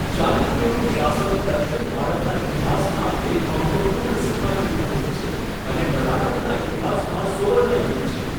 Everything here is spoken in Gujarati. ચાલુક્યોનું શાસન દક્ષિણ ભારતના ઇતિહાસમાં એક મહત્ત્વપૂર્ણ સીમાચિહ્નરૂપ છે અને કર્ણાટકના ઇતિહાસમાં સુવર્ણ યુગ છે.